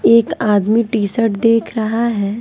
एक आदमी टी-शर्ट देख रहा है।